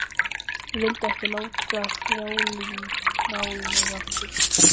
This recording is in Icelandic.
Ég vildi ekki láta þrælinn ná í mig aftur.